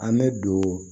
An bɛ don